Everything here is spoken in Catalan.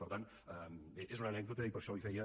per tant bé és una anècdota i per això li feia